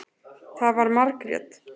Það var Margrét.